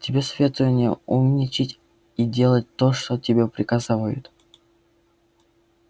а тебе советую не умничать и делать то что тебе приказывают